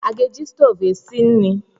A ga-eji stoovu esi nri?